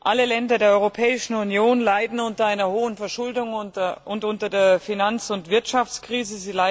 Alle Länder der Europäischen Union leiden unter einer hohen Verschuldung und unter der Finanz und Wirtschaftskrise.